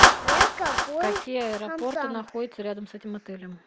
какие аэропорты находятся рядом с этим отелем